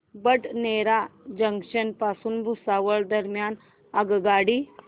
Badnera junction पासून भुसावळ दरम्यान आगगाडी